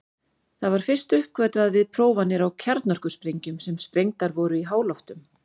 Það var fyrst uppgötvað við prófanir á kjarnorkusprengjum sem sprengdar voru í háloftum.